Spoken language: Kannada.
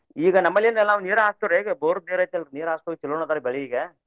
ಈಗ ನಮ್ಮಲ್ಲೇನ ನಾವ ನೀರ ಹಾರ್ಸ್ತೇವಿ ಈಗ ಬೋರ್ ನೀರ ಐತಿ ಅಲ್ರಿ ನೀರ್ ಹಾರ್ಸೊದಕ್ಕ ಚೊಲೋನ ಅದಾವ್ರಿ ಬೆಳಿ ಈಗ.